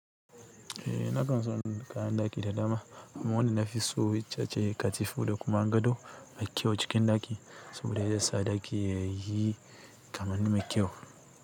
Eh nakan son kayan ɗaki da dama kuma wanda na fi so itace ce ƙatifo da kuma gado mai kyau cikin ɗaki. Saboda ya sa ɗaki yayi kamanni mai kyau.